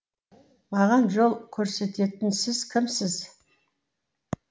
маған жол көрсететін сіз кімсіз